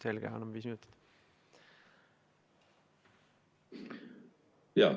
Selge, anname viis minutit.